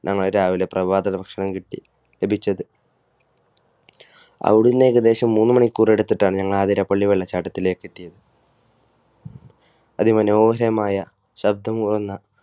ഞങ്ങൾ രാവിലെ പ്രഭാത ഭക്ഷണം ലഭിച്ചത്. അവിടുന്ന് ഏകദേശം മൂന്നു മണിക്കൂർ എടുത്തിട്ടാണ് ഞങ്ങൾ ആതിരപ്പള്ളി വെള്ളച്ചാട്ടത്തിലെത്തിയത്. അതിമനോഹരമായ ശബ്ദം മൂളുന്ന